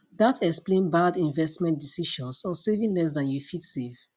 dat explain bad investment decisions or saving less dan you fit save